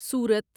سورت